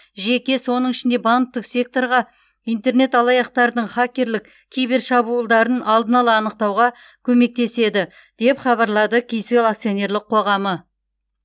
жеке соның ішінде банктік секторға интернет алаяқтардың хакерлік кибершабуылдарын алдын ала анықтауға көмектеседі деп хабарлады кселл акционерлік қоғамы